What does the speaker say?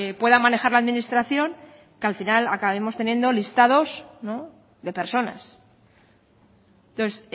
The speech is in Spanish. pueda manejar la administración que al final acabemos teniendo listados de personas entonces